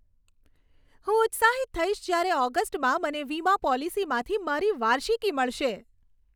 હું ઉત્સાહિત થઈશ જયારે ઓગસ્ટમાં મને વીમા પોલિસીમાંથી મારી વાર્ષિકી મળશે.